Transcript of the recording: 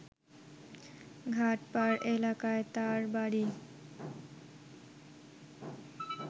ঘাটপাড় এলাকায় তার বাড়ি